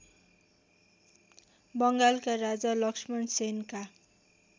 बङ्गालका राजा लक्ष्मणसेनका